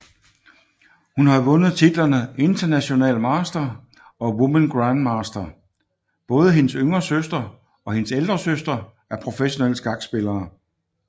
Hun har vundet titlerne International master og woman grandmaster både hendes yngre søster og hendes ældre søster er professionelle skakspillere